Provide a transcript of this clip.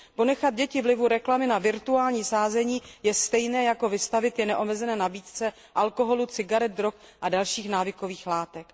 Ponechat děti vlivu reklamy na virtuální sázení je stejné jako je vystavit neomezené nabídce alkoholu, cigaret, drog a dalších návykových látek.